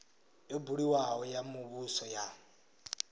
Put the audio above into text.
yo buliwaho ya muvhuso ya